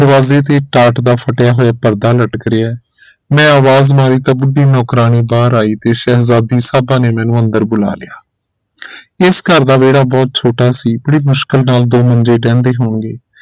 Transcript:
ਪਰਾਲੀ ਦੀ ਟਾਟ ਦਾ ਫਟਿਆ ਹੋਇਆ, ਪਰਦਾ ਲਟਕ ਰਿਹਾ ਹੈ ਮੈਂ ਆਵਾਜ਼ ਮਾਰੀ ਤਾਂ ਬੁੱਢੀ ਨੌਕਰਾਣੀ ਬਾਹਰ ਆਈ ਤੇ ਸ਼ਹਿਜ਼ਾਦੀ ਸਾਹਿਬਾ ਨੇ ਮੈਨੂੰ ਅੰਦਰ ਬੁਲਾ ਲਿਆ ਇਸ ਘਰ ਦਾ ਵਿਹੜਾ ਬਹੁਤ ਛੋਟਾ ਸੀ ਬੜੀ ਮੁਸ਼ਕਿਲ ਨਾਲ ਦੋ ਮੰਜੇ ਢਹਿੰਦੇ ਹੋਣਗੇ